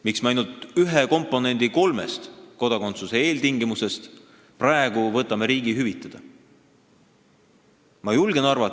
Miks me ainult ühe komponendi kolmest kodakondsuse eeltingimusest praegu riigi hüvitada võtame?